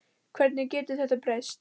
Hvernig getur þetta breyst?